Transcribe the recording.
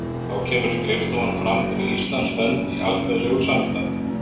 Þá kemur skrifstofan fram fyrir Íslands hönd í alþjóðlegu samstarfi.